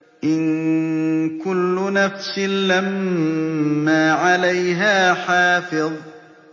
إِن كُلُّ نَفْسٍ لَّمَّا عَلَيْهَا حَافِظٌ